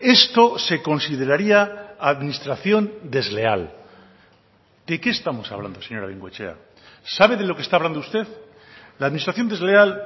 esto se consideraría administración desleal de qué estamos hablando señora bengoechea sabe de lo que está hablando usted la administración desleal